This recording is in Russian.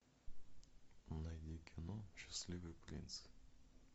найди кино счастливый принц